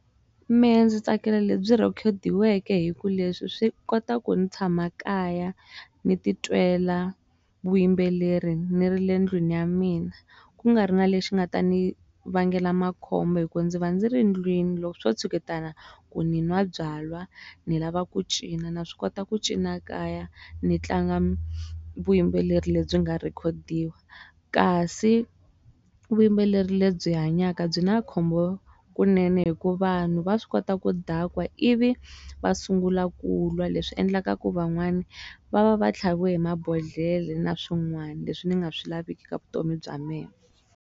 Mehe ndzi tsakela lebyi rhekhodiweke hi ku leswi swi kota ku ni tshama kaya ni titwela vuyimbeleri ni ri le ndlwini ya mina ku nga ri na lexi nga ta ni vangela makhombo hi ku ndzi va ndzi ri ndlwini loko swo tshuketana ku ni nwa byalwa ni lava ku cina na swi kota ku cina kaya ni tlanga vuyimbeleri lebyi nga rhekhodiwa kasi vuyimbeleri lebyi hanyaka byi na khombo kunene hi ku vanhu va swi kota ku dakwa i vi va sungula kulwa leswi endlaka ku van'wani va va va tlhaviwe hi mabodhlele na swin'wana leswi ni nga swi laveki ka vutomi bya me.